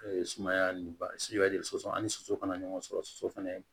sumaya ni ba siri soso ani soso kana ɲɔgɔn sɔrɔ soso fɛnɛ